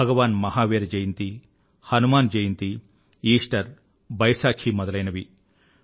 భగవాన్ Mahavira Jayanti Hanuman Jayanti Easter Baisakhi మొదలైనవి